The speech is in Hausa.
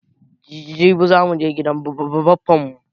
Jibi za muje gidan baffan mu